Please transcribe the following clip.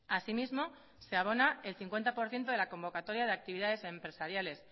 asimismo se abona el cincuenta por ciento de la convocatoria de actividades empresariales